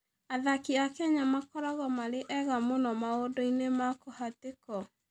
Athaki a Kenya makoragwo marĩ ega mũno maũndũ-inĩ ma kũhatĩkwo.